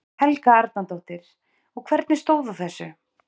Helga Arnardóttir: Og hvernig stóð á þessu?